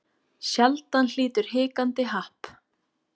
Sjaldan hlýtur hikandi happ.